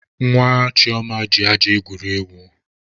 Nwa Chioma ji aja egwuri egwu.